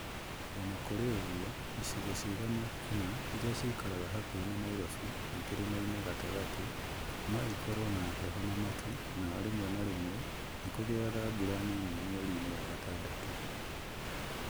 O na kũrĩ ũguo, icigo cigana ũna iria ciikaraga hakuhĩ na Nairobi na Kĩrĩmainĩ gatagatĩ no ikorũo na heho na matu, na rĩmwe na rĩmwe nĩ kũgĩaga mbura nini mweri-inĩ wa gatadatũ.